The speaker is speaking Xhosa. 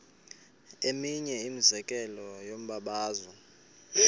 eminye imizekelo yombabazo